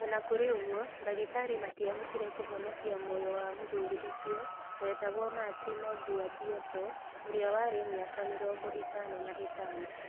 O na kũrĩ ũguo, ndagĩtarĩ matiahotire kũhonokia muoyo wa mũthuri ũcio wĩtagwo Martino Gaudioso ũrĩa warĩ na mĩaka mĩrongo ĩtano na ĩtano.